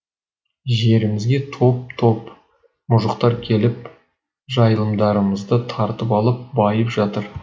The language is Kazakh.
жерімізге топ топ мұжықтар келіп жайылымдарымызды тартып алып байып жатыр